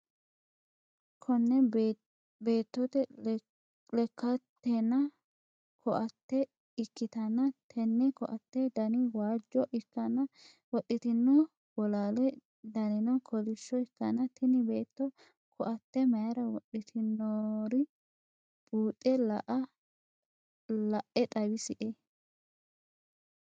Kune beetote lekkaatina koatte ikkitanna tenne koatte Dani waajjo ikkanna wodhitino bolaale danino kolishsho ikkana tini beetto koatte mayiira wodhitinori buuxe la'e xawisie?